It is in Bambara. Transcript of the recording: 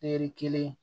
Pɛri kelen